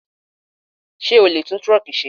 Sé o lè tún truck ṣe?